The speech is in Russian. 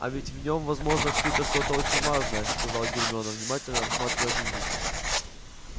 а ведь в нем возможно скрыто что-то очень важное сказала гермиона внимательно рассматривая дневник